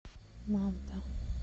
манта